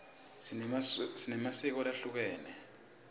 sinemasiko lahlukehlukene